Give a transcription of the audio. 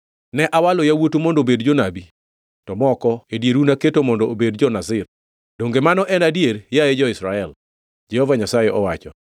“Ne awalo yawuotu mondo obed jonabi, to moko e dieru naketo mondo obed jo-Nazir. Donge mano en adier, yaye jo-Israel?” Jehova Nyasaye owacho.